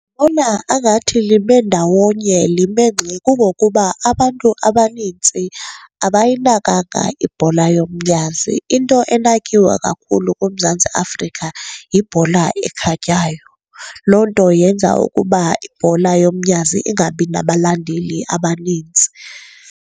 angathi lime ndawonye, lime ngxi. Kungokuba abantu abanintsi abayinakanga ibhola yomnyazi, into enakiwe kakhulu kuMzantsi Afrika yibhola ekhatywayo. Loo nto yenza ukuba ibhola yomnyazi ingabi nabalandeli abanintsi.